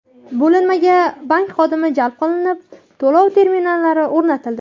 Bo‘linmaga bank xodimi jalb qilinib, to‘lov terminallari o‘rnatildi.